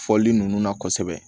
Fɔli ninnu na kosɛbɛ